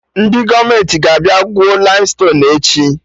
Ndị gọọmenti ga-abịa gwuo laimstonuu echi